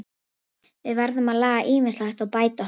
Við verðum að laga ýmislegt og bæta okkur.